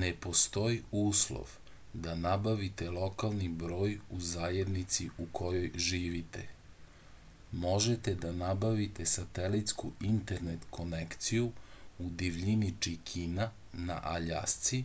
ne postoji uslov da nabavite lokalni broj u zajednici u kojoj živite možete da nabavite satelitsku internet konekciju u divljini čikina na aljasci